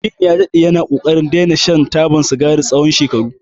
Aminu ya daɗe yana ƙoƙarin daina shan taba sigari tsawon shekaru.